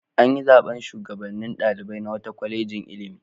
An yi zaɓen shugabannin ɗalibai na wata kwalejin ilimi.